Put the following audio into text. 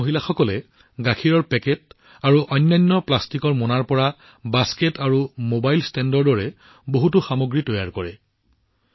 এই গোটৰ মহিলাসকলে গাখীৰৰ পাউচ্চ আৰু অন্যান্য প্লাষ্টিক পেকিং সামগ্ৰীৰ পৰা বাস্কেট আৰু মোবাইল ষ্টেণ্ডৰ দৰে বহুতো বস্তু তৈয়াৰ কৰে